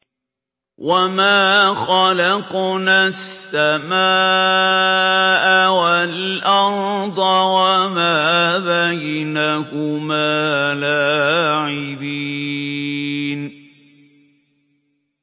وَمَا خَلَقْنَا السَّمَاءَ وَالْأَرْضَ وَمَا بَيْنَهُمَا لَاعِبِينَ